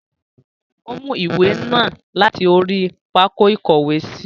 O mú ìwé náà láti orí pákó ìkówèésí.